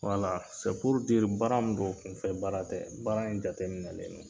Wala baara min don, kunfɛ baara tɛ. Baara in jate minɛlen don.